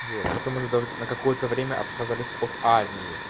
вот потом уже даже на какое-то время отказались от армии